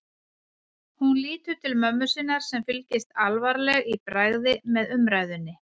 Hún lítur til mömmu sinnar sem fylgist alvarleg í bragði með umræðunni.